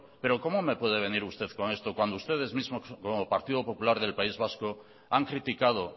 pero cómo me puede venir usted con esto cuando ustedes mismos como partido popular del país vasco han criticado